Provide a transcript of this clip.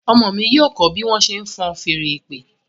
Ọmọ mí yíò kọ bí wón ṣe fọ́n Fèèrè ìpè.